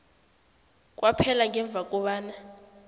kwaphela ngemva kobana